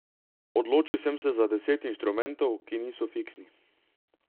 Odločil sem se za deset instrumentov, ki niso fiksni.